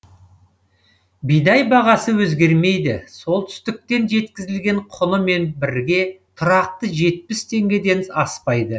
бидай бағасы өзгермейді солтүстіктен жеткізілген құнымен бірге тұрақты жетпіс теңгеден аспайды